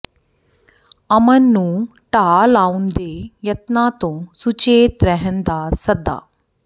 ਅਮਨ ਨੂੰ ਢਾਹ ਲਾਉਣ ਦੇ ਯਤਨਾਂ ਤੋਂ ਸੁਚੇਤ ਰਹਿਣ ਦਾ ਸੱਦਾ